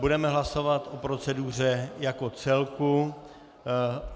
Budeme hlasovat o proceduře jako celku.